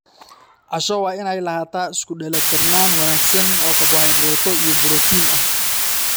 Casho waa inay lahaataa isku dheellitirnaan wanaagsan oo karbohaydraytyo iyo borotiinno ah.